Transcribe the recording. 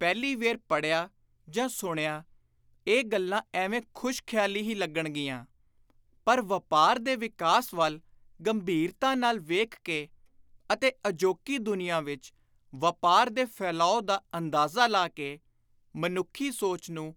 ਪਹਿਲੀ ਵੇਰ ਪੜ੍ਹਿਆਂ ਜਾਂ ਸੁਣਿਆਂ ਇਹ ਗੱਲਾਂ ਐਵੇਂ ਖ਼ੁਸ਼-ਖ਼ਿਆਲੀ ਹੀ ਲੱਗਣਗੀਆਂ ਪਰ ਵਾਪਾਰ ਦੇ ਵਿਕਾਸ ਵੱਲ ਗੰਭੀਰਤਾ ਨਾਲ ਵੇਖ ਕੇ ਅਤੇ ਅਜੋਕੀ ਦੁਨੀਆਂ ਵਿਚ ਵਾਪਾਰ ਦੇ ਫੈਲਾਉ ਦਾ ਅੰਦਾਜ਼ਾ ਲਾ ਕੇ ਮਨੁੱਖੀ ਸੋਚ ਨੂੰ